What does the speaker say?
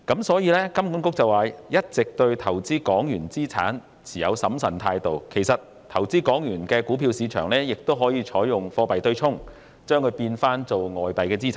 所以，金管局說一直對投資港元資產持審慎態度，其實投資港元的股票市場亦可採用貨幣對沖，將之變成外幣資產。